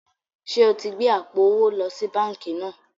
Ṣé o ti gbé àpò owó lọ sí báńkì náà?